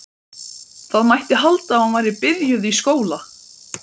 Það mætti halda að hún væri byrjuð í skóla.